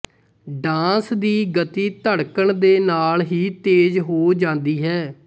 dance ਦੀ ਗਤੀ ਧੜਕਣ ਦੇ ਨਾਲ ਹੀ ਤੇਜ਼ ਹੋ ਜਾਂਦੀ ਹੈ